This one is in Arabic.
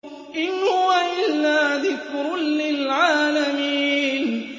إِنْ هُوَ إِلَّا ذِكْرٌ لِّلْعَالَمِينَ